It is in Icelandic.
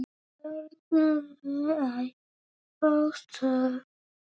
Tárin knúðu æ fastar á.